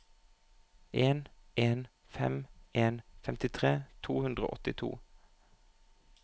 en en fem en femtifire tre hundre og åttito